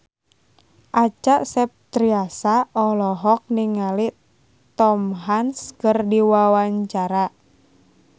Acha Septriasa olohok ningali Tom Hanks keur diwawancara